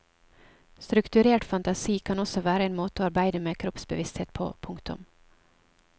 Strukturert fantasi kan også være en måte å arbeide med kroppsbevissthet på. punktum